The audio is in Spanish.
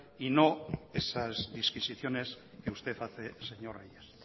y no esas disquisiciones que usted hace señor reyes